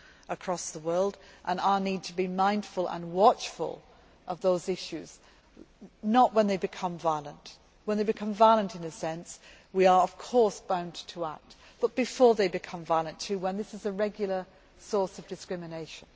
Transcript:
across the world and our need to be mindful and watchful of those issues, not when they become violent when they become violent, in a sense, we are, of course, bound to act but before they become violent, too, when this is a regular source of discrimination.